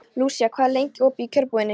Lúsía, hvað er lengi opið í Kjörbúðinni?